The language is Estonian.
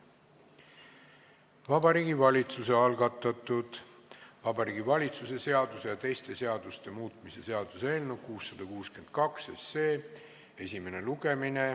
Vabariigi Valitsuse algatatud Vabariigi Valitsuse seaduse ja teiste seaduste muutmise seaduse eelnõu 662 esimene lugemine.